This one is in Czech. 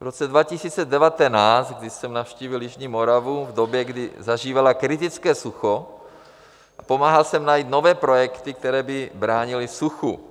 V roce 2019, kdy jsem navštívil jižní Moravu v době, kdy zažívala kritické sucho, pomáhal jsem najít nové projekty, které by bránily suchu.